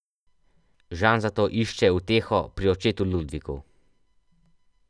Žan zato išče uteho pri očetu Ludviku.